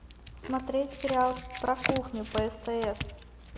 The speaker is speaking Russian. смотреть сериал про кухню по стс